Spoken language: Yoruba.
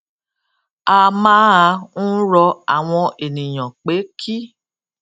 a máa ń rọ àwọn ènìyàn pé kí